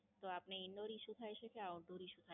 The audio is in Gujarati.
તો આપને Indoor Issue થાય છે કે Outdoor Issue